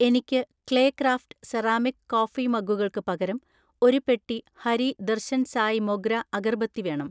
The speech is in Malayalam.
എനിക്ക് ക്ലേക്രാഫ്റ്റ് സെറാമിക് കോഫി മഗ്ഗുകൾക്ക് പകരം ഒരു പെട്ടി ഹരി ദർശൻ സായ് മൊഗ്ര അഗർബത്തി വേണം.